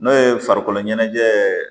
N'o ye farikolo ɲɛnajɛ